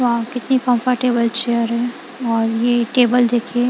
वहां कितनी comfortable chair है और ये टेबल देखिए।